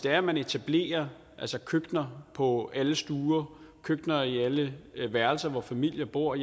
at man etablerer køkkener på alle stuer køkkener i alle værelser hvor familier bor